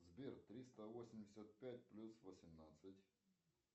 сбер триста восемьдесят пять плюс восемнадцать